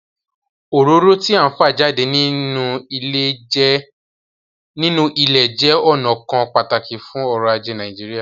Òróró tí à ń fa jáde nínú ilẹ̀ jẹ́ ọnà kan pàtàkì fún ọ̀rọ̀ ajé Nàìjíríà